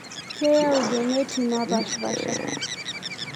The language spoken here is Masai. Keyau geneti napashpasha.